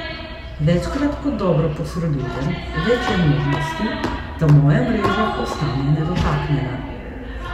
Večkrat kot dobro posredujem, več je možnosti, da moja mreža ostane nedotaknjena.